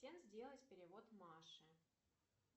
сделать перевод маше